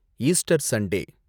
Easter Sunday